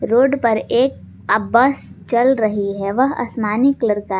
road पर एक आ बस चल रही हैं वह आसमानी कलर का--